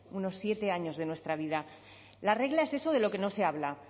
unos siete años de nuestra vida la regla es eso de lo que no se habla